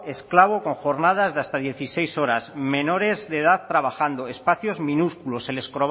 esclavo con jornadas de hasta dieciséis horas menores de edad trabajando espacios minúsculos se les